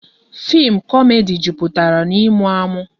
Fim komedi jupụtara na ịmụ amụ